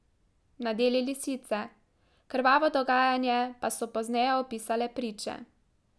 Nadeli lisice, krvavo dogajanje pa so pozneje opisale priče.